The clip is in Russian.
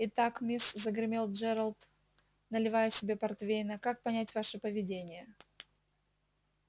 итак мисс загремел джералд наливая себе портвейна как понять ваше поведение